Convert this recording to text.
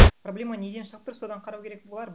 проблема неден шығып тұр содан қарау керек болар